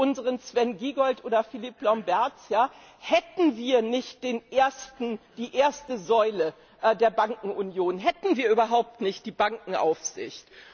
unseren Sven Giegold oder Philippe Lamberts hätten wir nicht die erste Säule der Bankenunion, hätten wir überhaupt nicht die Bankenaufsicht.